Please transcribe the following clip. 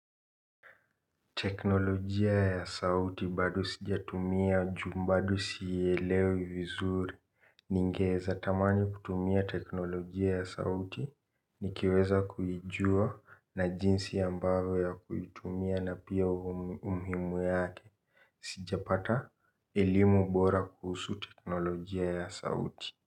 Teknolojia ya sauti bado sijatumia ju mbadu siielewe vizuri. Ningeza tamani kutumia teknolojia ya sauti. Nikiweza kuijua na jinsi ambavo ya kuitumia na pia umhimu yake. Sijapata elimu bora kuhusu teknolojia ya sauti.